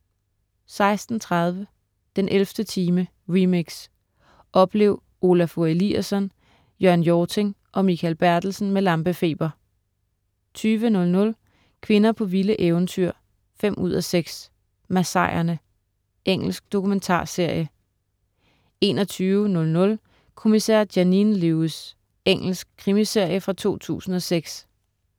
16.30 den 11. time, remix. Oplev Olafur Eliasson, Jørn Hjorting og Mikael Bertelsen med lampefeber 20.00 Kvinder på vilde eventyr 5:6. Masaierne. Engelsk dokumentarserie 21.00 Kommissær Janine Lewis. Engelsk krimiserie fra 2004